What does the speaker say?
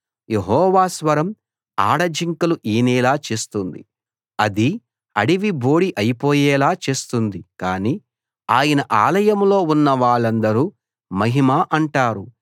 యెహోవా స్వరం ఆడ జింకలు ఈనేలా చేస్తుంది అది అడవి బోడి అయిపోయేలా చేస్తుంది కాని ఆయన ఆలయంలో ఉన్న వాళ్ళందరూ మహిమ అంటారు